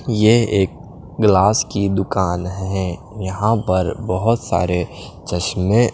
ये एक ग्लास की दुकान है यहां पर बहोत सारे चश्मे--